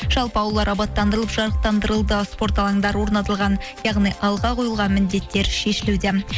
жалпы аулалар абаттандырылып жарықтандырылды спорт алаңдары орнатылған яғни алға қойылған міндеттер шешілуде